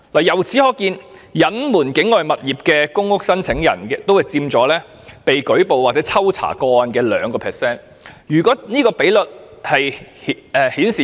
由此可見，隱瞞擁有境外物業的公屋申請宗數佔被抽查個案的 2%。